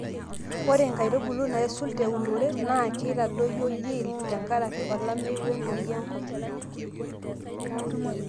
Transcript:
ore inkaitubulu naisul teunore naa keitadoyio yield te nkaraki olameyu we ntoyiiei enkop